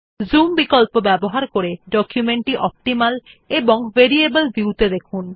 zoom বিকল্প ব্যবহার করে ডকুমেন্ট টি অপ্টিমাল এবং ভেরিয়েবল ভিউ ত়ে দেখুন